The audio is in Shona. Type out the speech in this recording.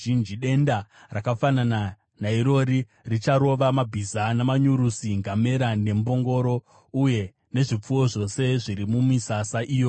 Denda rakafanana nairori richarova mabhiza namanyurusi, ngamera nembongoro, uye nezvipfuwo zvose zviri mumisasa iyoyo.